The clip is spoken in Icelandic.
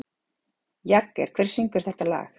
Jagger, hver syngur þetta lag?